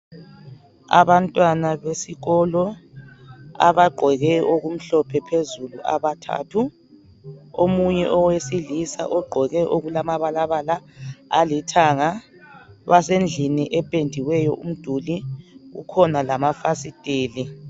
Abantwana besikolo abagqoke okumhlophe phezulu abathathu omunye owesilisa ugqoke okulamabalabala alithanga basendlini ependiweyo umduli, kukhona lamafasitela.